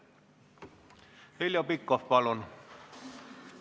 Heljo Pikhof, palun!